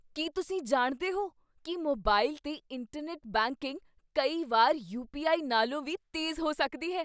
ਕੀ ਤੁਸੀਂ ਜਾਣਦੇ ਹੋ ਕੀ ਮੋਬਾਈਲ 'ਤੇ ਇੰਟਰਨੈੱਟ ਬੈਂਕਿੰਗ ਕਈ ਵਾਰ ਯੂ. ਪੀ. ਆਈ. ਨਾਲੋਂ ਵੀ ਤੇਜ਼ ਹੋ ਸਕਦੀ ਹੈ?